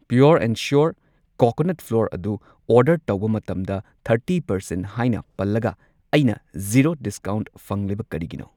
Pure and sure coconut flour ꯑꯗꯨ order ꯇꯧꯕ ꯃꯇꯝꯗ ꯊꯔꯇꯤ ꯄꯔꯁꯦꯟꯠ ꯍꯥꯏꯅ ꯄꯜꯂꯒ ꯑꯩꯅ ꯓꯤꯔꯣ ꯗꯤꯁꯀꯥꯎꯟꯠ ꯐꯪꯂꯤꯕ ꯀꯔꯤꯒꯤꯅꯣ?